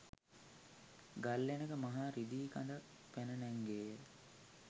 ගල්ලෙනක මහා රිදී කඳක් පැන නැංගේ ය.